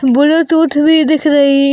Bluetooth भी दिख रही--